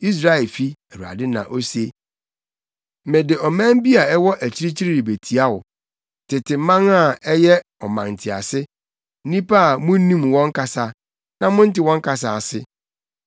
Israelfi,” Awurade na ose, “Mede ɔman bi a ɛwɔ akyirikyiri rebetia wo, tete man a ɛyɛ ɔmantease, nnipa a munnim wɔn kasa, na monnte wɔn kasa ase.